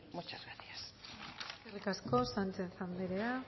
muchas gracias eskerrik asko sánchez anderea